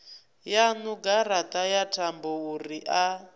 yaṋu garaṱa ya thambouri a